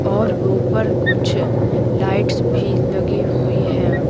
और ऊपर कुछ लाइट्स भी लगी हुई है।